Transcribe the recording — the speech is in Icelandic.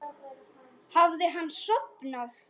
Hafði hann sofnað?